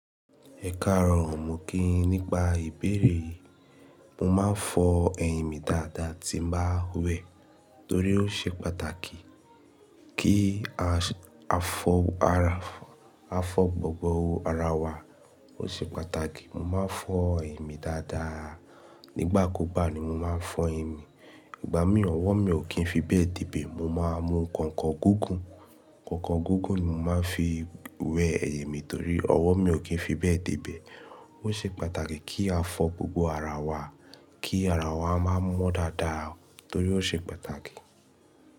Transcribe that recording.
Ẹ̀kaarọ̀ o mi kí yín nípa ìbéèrè yìí, mo máa ń fọ ẹ̀yìn mi dáadáa tí n bá wẹ̀ torí ó ṣe pàtàkì kí a fọ gbogbo ara wa. Ó ṣe pàtàkì mo máa ń fọ ẹyìn mi dáadáa. Nígbà kú gbà ni mo máa ń fọ ẹyìn mi. Ìgbà mí ọwọ́ mi ò kí ń fi bẹ́ẹ̀ debẹ̀. Mo máa ń mu nkànkàn gúgùn. Kànkàn gúgùn ni mo máa ń fi wẹ ẹ̀yìn mi torí ọwọ́ mi ò kí ń fi bẹ́ẹ̀ dìbẹ̀. Ó ṣe pàtàkì kí a fọ gbogbo ara wa, kí ara wa máa mọ́ dáadáa torí ó ṣe pàtàkì.